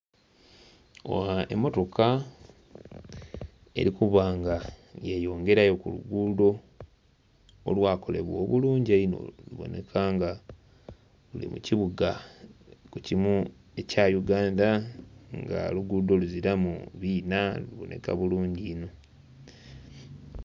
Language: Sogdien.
Emotoka eri kuba nga yeyongerayo ku luguudo olwa kolebwa obulungi einho lubonheka nga luli mu kibuga ku kimu ekya Uganda nga oluguudo luziranu biina lubonheka bulungi inho.